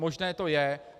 Možné to je.